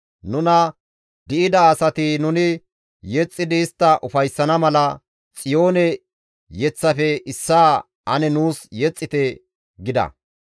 Nuna di7ida asati nuni yexxidi istta ufayssana mala, «Xiyoone yeththafe issaa ane nuus yexxite» gida.